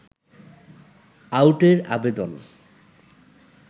আউটের আবেদন